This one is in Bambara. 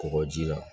Kɔgɔji la